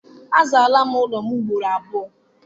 Azaala m ọnụ ụlọ ugboro abụọ.